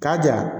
K'a ja